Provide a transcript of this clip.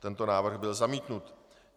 Tento návrh byl zamítnut.